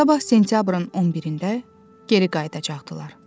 Sabah sentyabrın 11-də geri qayıdacaqdılar.